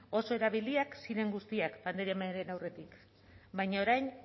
oso erabiliak ziren guztiak pandemiaren aurretik baina orain